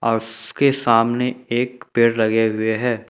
और उसके सामने एक पेड़ लगे हुए हैं।